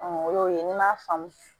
o y'o ye n'i m'a faamu